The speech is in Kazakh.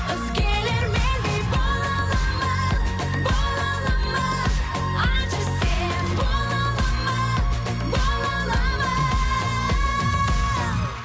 өзгелер мендей бола алады ма бола алады ма айтшы сен бола алады ма бола алады ма